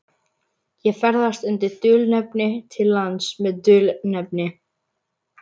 Ég ferðast undir dulnefni til lands með dulnefni.